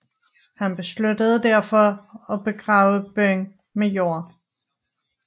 Han besluttede derfor at begrave byen med jord